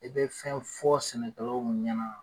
E be fɛn fɔ sɛnɛkɛlaw ɲɛna